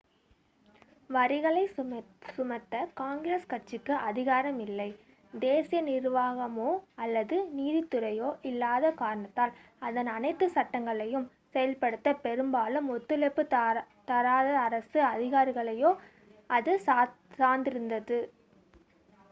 வரிகளைச் சுமத்த காங்கிரஸ் கட்சிக்கு அதிகாரம் இல்லை தேசிய நிர்வாகமோ அல்லது நீதித்துறையோ இல்லாத காரணத்தால் அதன் அனைத்து சட்டங்களையும் செயல்படுத்த பெரும்பாலும் ஒத்துழைப்புத் தராத அரசு அதிகாரிகளையே அது சார்ந்திருந்தது